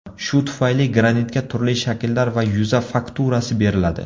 Shu tufayli granitga turli shakllar va yuza fakturasi beriladi.